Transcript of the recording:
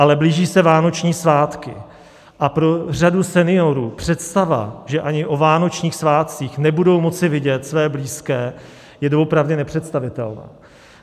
Ale blíží se vánoční svátky a pro řadu seniorů představa, že ani o vánočních svátcích nebudou moci vidět své blízké, je doopravdy nepředstavitelná.